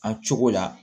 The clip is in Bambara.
An cogo la